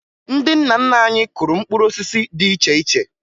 Ndị nna nna anyị kụrụ mkpụrụ osisi dị iche iche